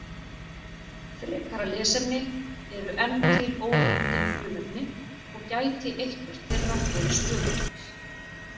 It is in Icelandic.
Frekara lesefni: Eru enn til ófundin frumefni og gæti eitthvert þeirra verið stöðugt?